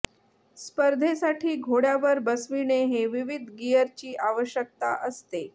स्पर्धेसाठी घोड्यावर बसविणे हे विविध गियरची आवश्यकता असते